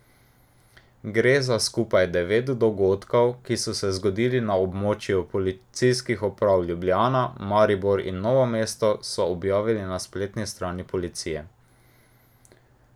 Gre za skupaj devet dogodkov, ki so se zgodili na območju policijskih uprav Ljubljana, Maribor in Novo mesto, so objavili na spletni strani policije.